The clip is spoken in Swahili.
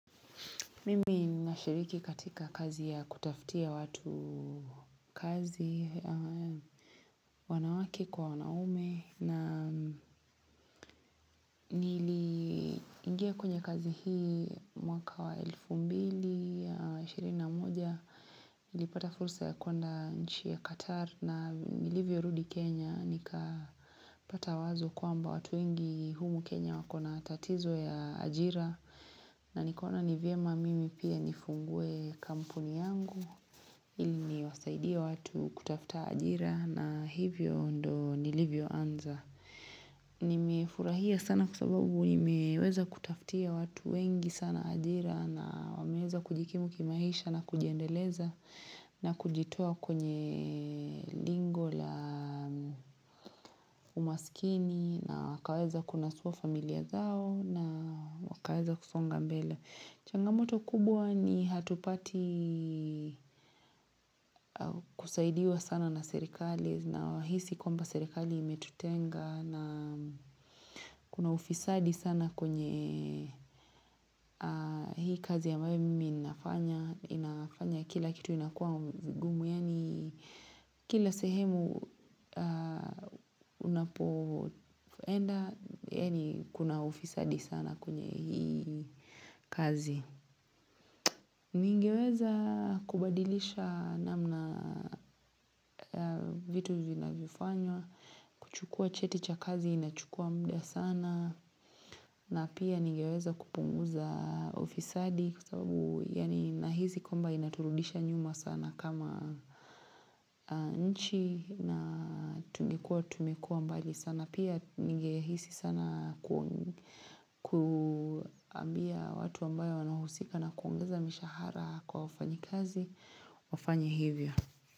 Mimi nashiriki katika kazi ya kutafutia watu kazi wanawake kwa wanaume na niliingia kwenye kazi hii mwaka wa elfu mbili ya ishirini na moja. Nilipata fursa ya kuenda nchi ya Qatar na nilivyo rudi Kenya nikapata wazo kwamba watu wengi humu Kenya wako na tatizo ya ajira na nikaona ni vyema mimi pia nifungue kampuni yangu ili niwasaidie watu kutafuta ajira na hivyo ndo nilivyo anza. Nimefurahia sana kwa sababu nimeweza kutafutia watu wengi sana ajira na wameweza kujikimu kimaisha na kujiendeleza na kujitoa kwenye lingo la umaskini na wakaweza kunasua familia zao na wakaweza kusonga mbele. Changamoto kubwa ni hatupati kusaidia sana na serikali nahisi kwamba serikali imetutenga na kuna ufisadi sana kwenye hii kazi ya mwemi inafanya, inafanya kila kitu inakua ngumu, yani kila sehemu unapoenda, yani kuna ufisadi sana kwenye hii kazi. Ningeweza kubadilisha namna vitu vinavyo fanywa, kuchukua cheti cha kazi inachukua muda sana na pia ningeweza kupunguza ufisadi kwa sababu yani nahisi kwamba inaturudisha nyuma sana kama nchi na tungekuwa tumekuwa mbali sana. Na pia ningehisi sana kuambia watu ambayo wanahusika na kuongeza mishahara kwa wafanyikazi wafanye hivyo.